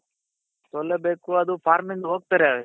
ಸೋಲಲೇ ಬೇಕು ಅದು form ಇಂದ ಹೋಗ್ತಾರೆ